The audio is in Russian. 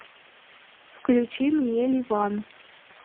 включи мне ливан